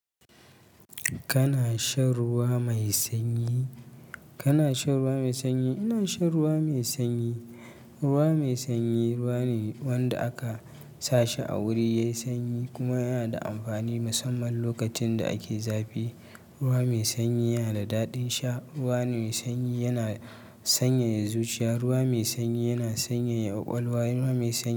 Kana shan ruwa mai sanyi? Kana shan ruwa mai sanyi? Ina shan ruwa mai sanyi. Ruwa mai sanyi ruwa ne wanda aka sa shi a wuri ya yi sanyi kuma yana da amfani musamman lokacin da ake zafi. Ruwa mai sanyi yana da daɗin sha. Ruwa mai sanyi yana sanyaya zuciya. Ruwa mai sanyi yana sanyaya ƙwaƙwalwa. Ruwa mai sanyi.